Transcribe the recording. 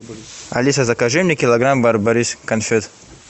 алиса закажи мне килограмм барбарисок конфет